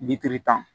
tan